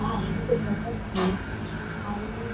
आहे तो बघत आहे आणि --